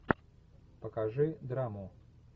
покажи драму